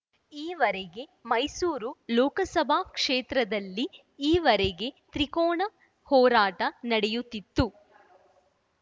ಈವರೆಗೆ ಮೈಸೂರು ಲೋಕಸಭಾ ಕ್ಷೇತ್ರದಲ್ಲಿ ಈವರೆಗೆ ತ್ರಿಕೋನ ಹೋರಾಟ ನಡೆಯುತ್ತಿತ್ತು